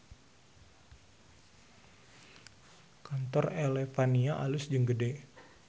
Kantor Elevania alus jeung gede